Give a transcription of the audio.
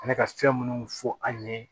Ani ka fɛn munnu fɔ an ye